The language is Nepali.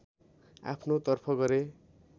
आफ्नो तर्फ गरे